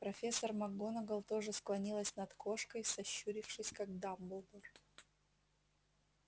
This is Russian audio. профессор макгонагалл тоже склонилась над кошкой сощурившись как дамблдор